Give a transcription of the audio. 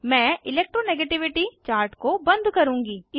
मैं electro negativity chart को बंद करुँगी